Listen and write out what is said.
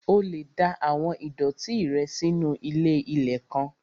O lè da àwọn ìdọ̀ọ̀tí rẹ nù sínu ilé-ilẹ̀ kan